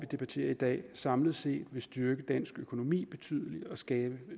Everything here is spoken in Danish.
debatterer i dag samlet set vil styrke dansk økonomi betydeligt og skabe